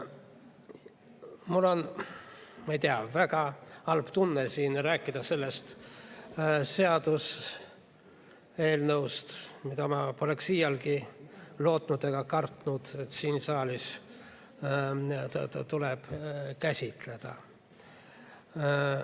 Mul on, ma ei tea, väga halb tunne siin rääkida sellest seaduseelnõust, mille puhul ma poleks iialgi lootnud ega kartnud, et siin saalis tuleb seda käsitleda.